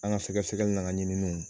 An ka sɛgɛsɛgɛli n'an ka ɲiniw